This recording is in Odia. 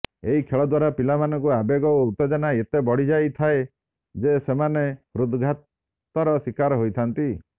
ଏହି ଖେଳ ଦ୍ବାରା ପିଲାମାନଙ୍କ ଆବେଗ ଓ ଉତ୍ତେଜନା ଏତେ ବଢିଯାଇଥାଏ ଯେ ସେମାନେ ହୃଦ୍ଘାତର ଶିକାର ହୋଇଥାନ୍ତି